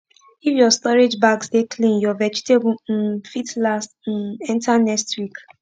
if ur storage bags dey clean ur vegetable um fit last um enta next week